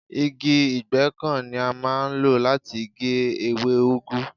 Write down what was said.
Igi ìgéǹkan ni a máa ń lò láti gé ewé úgú.